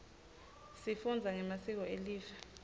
sifunza ngemasiko elive